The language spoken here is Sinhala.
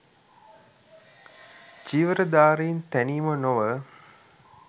චීවරධාරීන් තැනීම නොව